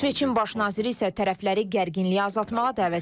İsveçin baş naziri isə tərəfləri gərginliyi azaltmağa dəvət edib.